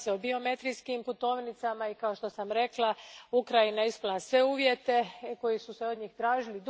Radi se o biometrijskim putovnicama i kao što sam rekla, Ukrajina je ispunila sve uvjete koji su se od nje tražili.